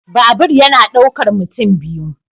Babur yana daukar mutum biyu.